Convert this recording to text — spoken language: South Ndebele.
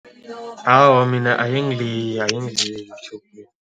Awa, mina ayingiliyi, ayingiliyi